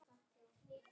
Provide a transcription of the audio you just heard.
Allt í rétta átt.